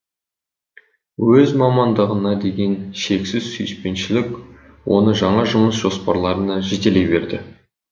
өз мамандығына деген шексіз сүйіспеншілік оны жаңа жұмыс жоспарларына жетелей берді